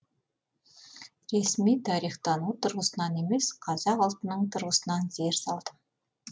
ресми тарихтану тұрғысынан емес қазақ ұлтының тұрғысынан зер салдым